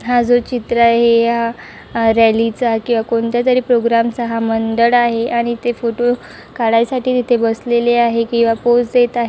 हा जो चित्र आहे तो हा रॅलीचा किवा कोणत्यातरी प्रोग्रामचा हा मंददड आहे आणि ते फोटो काडायसाठी ते इथे बसलेले आहे किवा पोज देत आहे.